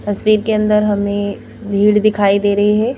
तस्वीर के अंदर हमें भीड़ दिखाई दे रही है।